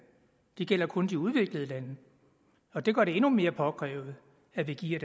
de gælder kun de udviklede lande og det gør det endnu mere påkrævet at vi giver